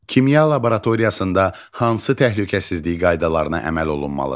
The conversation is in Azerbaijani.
Kimya laboratoriyasında hansı təhlükəsizlik qaydalarına əməl olunmalıdır?